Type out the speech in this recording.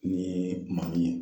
N'i yee maa ye